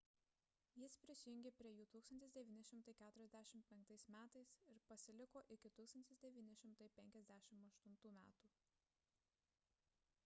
jis prisijungė prie jų 1945 m ir pasiliko iki 1958 m